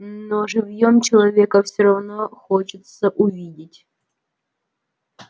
но живьём человека всё равно хочется увидеть